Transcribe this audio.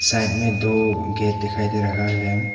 Side में दो gate दिखाई दे रहा है।